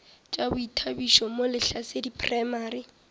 tša boithabišo mo lehlasedi primary